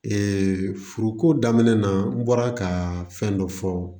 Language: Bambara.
furuko daminɛ na n bɔra ka fɛn dɔ fɔ